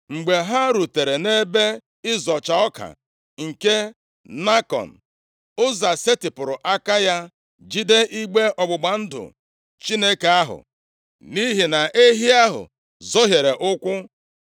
Mgbe ha rutere nʼebe ịzọcha ọka nke Nakọn, Ụza setịpụrụ aka ya, jide igbe ọgbụgba ndụ Chineke ahụ, nʼihi na ehi ahụ zọhiere ụkwụ.